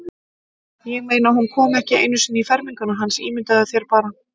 Ég meina, hún kom ekki einu sinni í ferminguna hans, ímyndaðu þér bara.